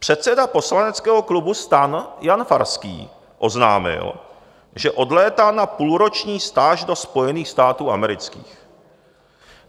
Předseda poslaneckého klubu STAN Jan Farský oznámil, že odlétá na půlroční stáž do Spojených států amerických.